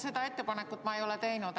Seda ettepanekut ma ei ole teinud.